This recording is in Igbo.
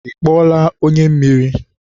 Ị kpọọla onye mmiri?